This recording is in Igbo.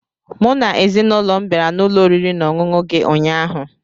Mụ na ezinụlọ m bịara n'ụlọ oriri na ọṅụṅụ gị ụnyaahụ